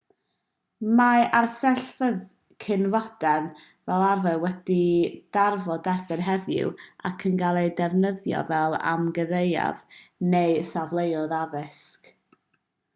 mae arsyllfeydd cyn-fodern fel arfer wedi darfod erbyn heddiw ac yn cael eu defnyddio fel amgueddfeydd neu safleoedd addysg